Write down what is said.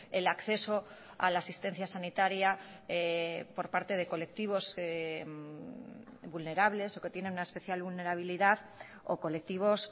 el acceso a la asistencia sanitaria por parte de colectivos vulnerables o que tienen una especial vulnerabilidad o colectivos